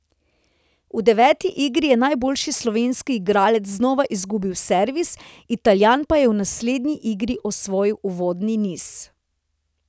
V deveti igri je najboljši slovenski igralec znova izgubil servis, Italijan pa je v naslednji igri osvojil uvodni niz.